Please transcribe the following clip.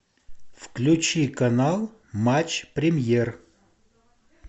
включи канал матч премьер